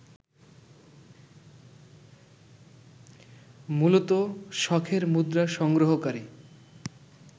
মূলত শখের মুদ্রা সংগ্রহকারী